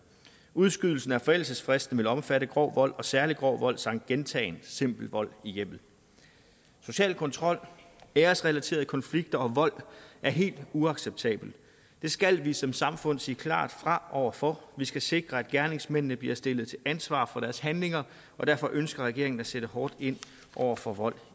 udskydelsen af forældelsesfristen vil omfatte grov vold og særlig grov vold samt gentagen simpel vold i hjemmet social kontrol æresrelaterede konflikter og vold er helt uacceptabelt det skal vi som samfund sige klart fra over for vi skal sikre at gerningsmændene bliver stillet til ansvar for deres handlinger og derfor ønsker regeringen at sætte hårdt ind over for vold